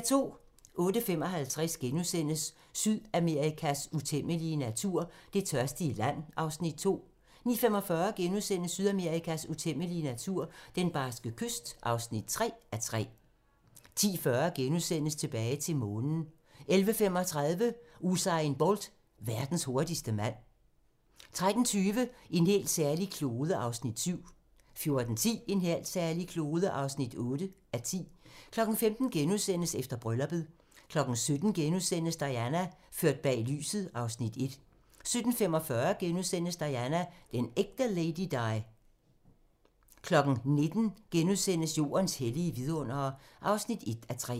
08:55: Sydamerikas utæmmelige natur - Det tørstige land (2:3)* 09:45: Sydamerikas utæmmelige natur - Den barske kyst (3:3)* 10:40: Tilbage til Månen * 11:35: Usain Bolt - verdens hurtigste mand 13:20: En helt særlig klode (7:10) 14:10: En helt særlig klode (8:10) 15:00: Efter brylluppet * 17:00: Diana - ført bag lyset (Afs. 1)* 17:45: Diana - den ægte Lady Di * 19:00: Jordens hellige vidundere (1:3)*